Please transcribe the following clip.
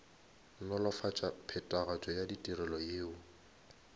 nolofatša phethagatšo ya ditirelo yeo